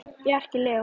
Þinn, Bjarki Leó.